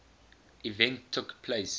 event took place